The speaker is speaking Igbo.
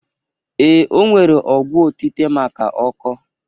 Ee, o nwere ọgwọ otite maka ọkọọ